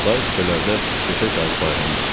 Day kupelərdə döşək ağı paylamaz.